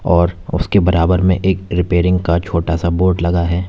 और उसके बराबर में एक रिपेयरिंग का छोटा सा बोर्ड लगा है।